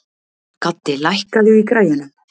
Gaddi, lækkaðu í græjunum.